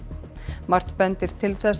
margt bendir til þess að